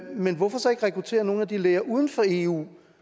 men hvorfor så ikke rekruttere nogle af de læger uden for eu